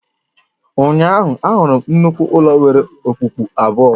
Ụnyaahụ, ahụrụ m nnukwu ụlọ nwere okpukpu abụọ